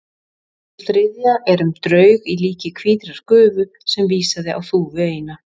Sú þriðja er um draug í líki hvítrar gufu sem vísaði á þúfu eina.